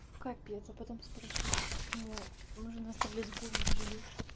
капец а потом спрашивайте почему нужно оставлять гулей в живых